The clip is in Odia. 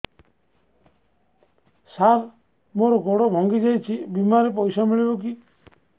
ସାର ମର ଗୋଡ ଭଙ୍ଗି ଯାଇ ଛି ବିମାରେ ପଇସା ମିଳିବ କି